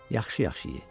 Yaxşı-yaxşı ye.